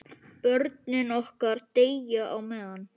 Börnin okkar deyja á meðan.